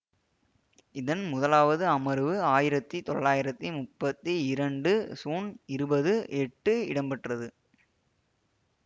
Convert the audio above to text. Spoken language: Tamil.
இதன் முதலாவது அமர்வு ஆயிரத்தி தொளாயிரத்தி முப்பத்தி இரண்டு சூன் இருபது எட்டு இடம்பெற்றது